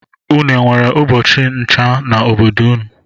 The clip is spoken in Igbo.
Une enwere ubọchi ncha na obodo gi?